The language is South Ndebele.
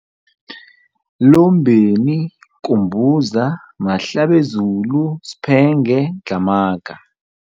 Lombeni, Kumbuza, Mahlabezulu, Sphenge, Dlhamaga.